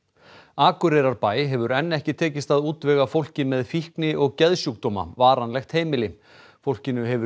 Akureyrarbæ hefur enn ekki tekist að útvega fólki með fíkni og geðsjúkdóma varanlegt heimili fólkinu hefur